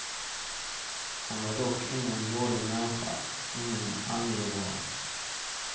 Han var dock ingen dålig människa, ingen angivare.